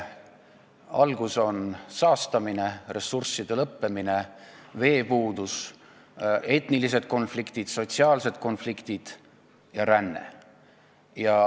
Alguses on saastamine, ressursside lõppemine, veepuudus, etnilised konfliktid, sotsiaalsed konfliktid ja ränne.